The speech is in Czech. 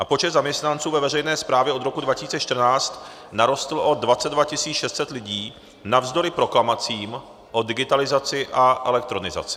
A počet zaměstnanců ve veřejné správě od roku 2014 narostl o 22 600 lidí navzdory proklamacím o digitalizaci a elektronizaci.